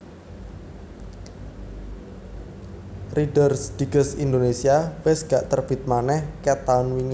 Reader's Digest Indonesia wes gak terbit maneh ket taun wingi